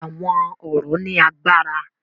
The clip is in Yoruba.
Àwọn ọ̀rọ̀ ní agbára.